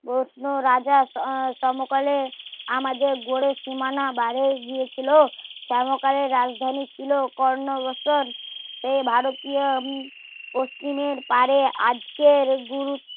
প্রশ্ন রাজা সমকালে আমাদের গড়ে সীমানার বারে গিয়েছিলো সমকালে রাজধানী ছিলো কর্ণবছর সে ভারতীয় পশ্চিমের পারে আজকের গুরুত্ব